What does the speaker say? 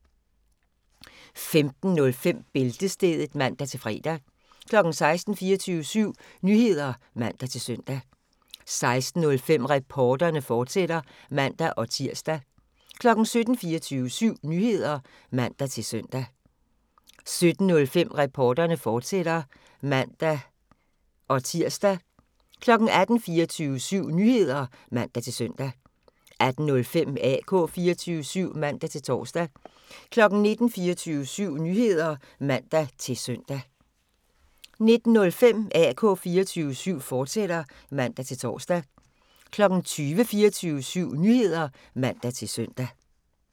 15:05: Bæltestedet (man-fre) 16:00: 24syv Nyheder (man-søn) 16:05: Reporterne, fortsat (man-tir) 17:00: 24syv Nyheder (man-søn) 17:05: Reporterne, fortsat (man-tir) 18:00: 24syv Nyheder (man-søn) 18:05: AK 24syv (man-tor) 19:00: 24syv Nyheder (man-søn) 19:05: AK 24syv, fortsat (man-tor) 20:00: 24syv Nyheder (man-søn)